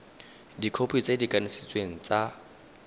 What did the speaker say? dikhopi tse di kanisitsweng tsa